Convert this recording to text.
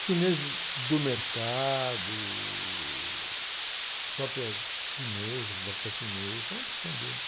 Os Chineses do Mercado, uh, a própria Tia Inês, o Bloco da Tia Inês, uma porção deles.